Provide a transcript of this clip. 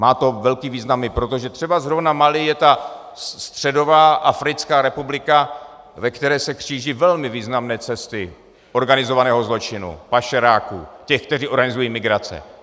Má to velký význam i proto, že třeba zrovna Mali je ta středová africká republika, ve které se kříží velmi významné cesty organizovaného zločinu, pašeráků, těch, kteří organizují migrace.